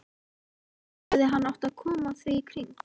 Hvernig hefði hann átt að koma því í kring?